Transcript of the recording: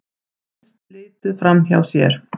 Finnst litið framhjá sér